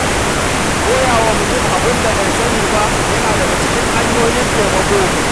Koyawa mutum abin da bai sani ba yana daga cikin hanyoyin taimako.